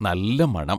നല്ല മണം!